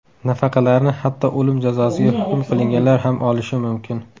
Nafaqalarni hatto o‘lim jazosiga hukm qilinganlar ham olishi mumkin.